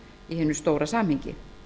hinu stóra samhengi